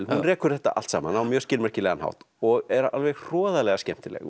hún rekur þetta allt saman á mjög skilmerkilegan hátt og er alveg hroðalega skemmtileg